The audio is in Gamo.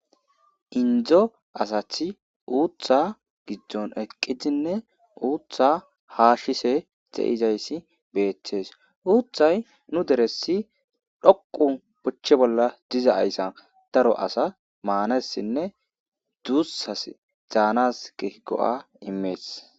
Indo asati utha gidon eqidinne utha hashishe de'etezaysi betes. Uthay nu deresi dhoqu oche bolla dizzysi daro asas manasinne dusa danas go'a imes.